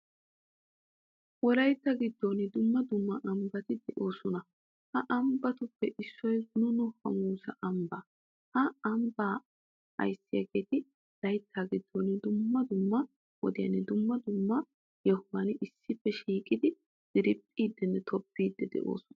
Wolaytta giddon dumma dumma ambbati de'osona. Ha ambbatuppe issoy gununo hamuusa ambba. Ha Ambba ayssiyageti laytta giddon dumma dumma wodiyan dumma dumma yohuwan issippe shiqidi dirphidinne tobbidi denddosona.